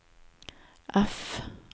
F